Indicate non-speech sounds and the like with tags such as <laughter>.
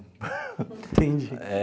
<laughs> Entendi.